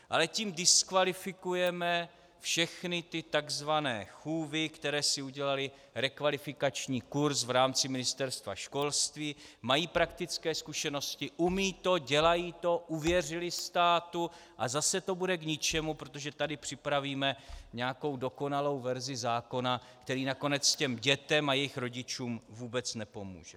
Ale tím diskvalifikujeme všechny ty tzv. chůvy, které si udělaly rekvalifikační kurz v rámci Ministerstva školství, mají praktické zkušenosti, umějí to, dělají to, uvěřily státu, a zase to bude k ničemu, protože tady připravíme nějakou dokonalou verzi zákona, který nakonec těm dětem a jejich rodičům vůbec nepomůže.